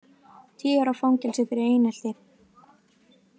Tíu ára fangelsi fyrir einelti